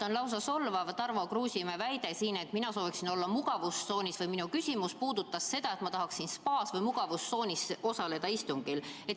On lausa solvav Tarmo Kruusimäe väide siin, et mina sooviksin olla mugavustsoonis või et minu küsimus puudutas seda, et ma tahaksin spaas või mugavustsoonis osaleda istungil.